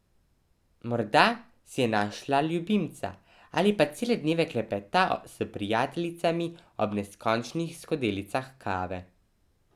Morda si je našla ljubimca ali pa cele dneve klepeta s prijateljicami ob neskončnih skodelicah kave.